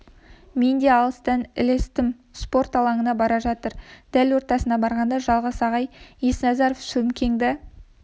мен де алыстан ілестім спорт алаңына бара жатыр дәл ортасына барғанда жалғас ағай есназаров сөмкеңді